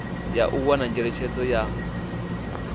ya u wana ngeletshedzo ya